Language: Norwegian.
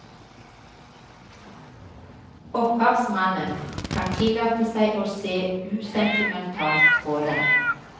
Opphavsmannen kan tillate seg å se usentimentalt på dem.